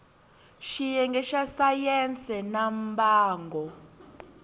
xiyenge xa sayense ya mbango